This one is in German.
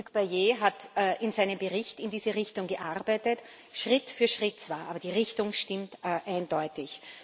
Hugues Bayet hat in seinem Bericht in diese Richtung gearbeitet Schritt für Schritt zwar, aber die Richtung stimmt eindeutig.